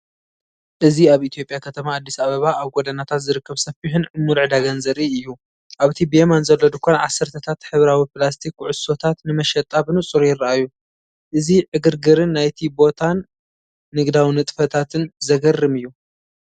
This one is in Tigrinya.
እዚ ኣብ ኢትዮጵያ ከተማ ኣዲስ ኣበባ ኣብ ጎደናታት ዝርከብ ሰፊሕን ዕሙር ዕዳጋን ዘርኢ እዩ። ኣብቲ ብየማን ዘሎ ድኳን ዓሰርተታት ሕብራዊ ፕላስቲክ ኩዕሶታት ንመሸጣ ብንጹር ይረኣዩ። እዚ ዕግርግርን ናይቲ ቦታን ንግዳዊ ንጥፈታትን ዘገርም እዩ።